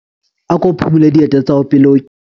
Ako phumule dieta tsa hao pele o kena.